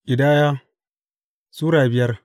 Ƙidaya Sura biyar